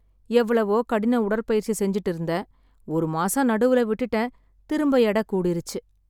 எவ்ளவோ கடின உடற்பயிற்சி செஞ்சுட்டு இருந்தேன், ஒரு மாசம் நடுவுல விட்டுட்டேன், திரும்ப எடை கூடிருச்சு.